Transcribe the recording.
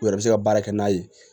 U yɛrɛ bɛ se ka baara kɛ n'a ye